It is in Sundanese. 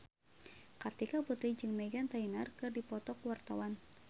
Kartika Putri jeung Meghan Trainor keur dipoto ku wartawan